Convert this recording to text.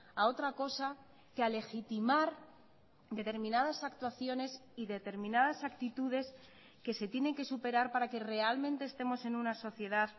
a otra cosa que a legitimar determinadas actuaciones y determinadas actitudes que se tienen que superar para que realmente estemos en una sociedad